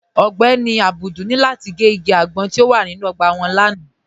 Ọ̀gbẹ́ní Abdul ni lati gẹ́ igi agbọ̀n ti o wà nínu ogbà wọn lánà.